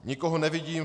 Nikoho nevidím.